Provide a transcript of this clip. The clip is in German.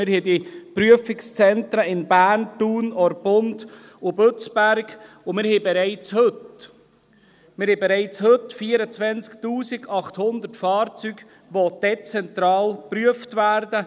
Wir haben die Prüfungszentren in Bern, Thun, Orpund und Bützberg, und wir haben bereits heute 24’800 Fahrzeuge, die dezentral geprüft werden.